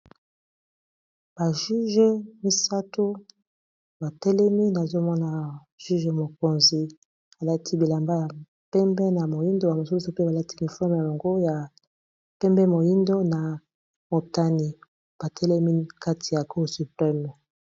ba juge misato batelemi nazomona juge mokonzi alaki bilamba ya pembe na moyindo ya mosusu pe balati uniforme ya longo ya pembe moyindo na motani batelemi kati ya cour supreme